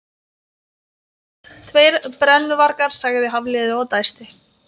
Sem sagt, tveir brennuvargar sagði Hafliði og dæsti.